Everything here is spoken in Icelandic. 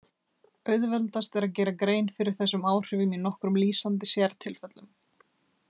Auðveldast er að gera grein fyrir þessum áhrifum í nokkrum lýsandi sértilfellum.